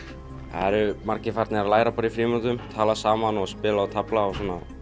það eru margir farnir að læra í frímínútum tala saman og spila og tefla